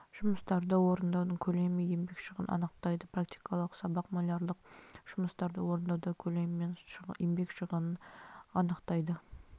жұмыстарды орындаудың көлемі мен еңбек шығынын анықтайды практикалық сабақ малярлық жұмыстарды орындауда көлемді және еңбек шығынын анықтайды